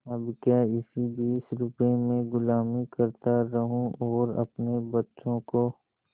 अब क्या इसी बीस रुपये में गुलामी करता रहूँ और अपने बच्चों को